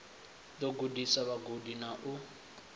ḓo gudisa vhagudi na u